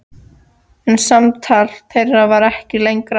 En samtal þeirra varð ekki lengra.